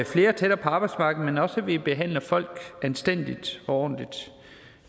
flere tættere på arbejdsmarkedet men også at vi behandler folk anstændigt og ordentligt